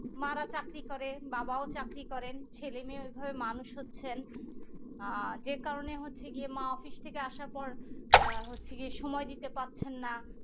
মারা চাকরি করে বাবাও চাকরি করেন ছেলে মেয়ে ঐভাবে মানুষ হচ্ছেন আহ যে কারণে হচ্ছে গিয়ে মা office থেকে আসার পর আহ হচ্ছে গিয়ে সময় দিতে পারছেন না